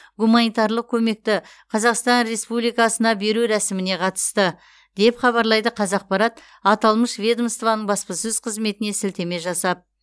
гуманитарлық көмекті қзақстан республикасына беру рәсіміне қатысты деп хабарлайды қазақпарат аталмыш ведомоствоның баспасөз қызметіне сілтеме жасап